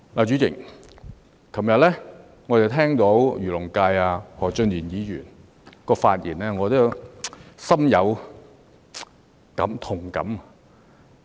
主席，我昨天聆聽了漁農界何俊賢議員的發言，心有同感。